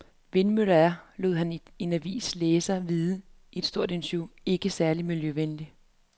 Vindmøller er, lod han denne avis læsere vide i et stort interview, ikke særlig miljøvenlige.